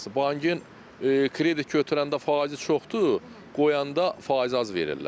Bankın kredit götürəndə faizi çoxdur, qoyanda faiz az verirlər.